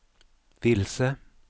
vilse